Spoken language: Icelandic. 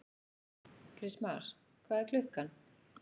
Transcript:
Kristmar, hvað er klukkan?